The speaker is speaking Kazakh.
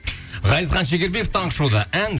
ғазизхан шекербеков таңғы шоуда ән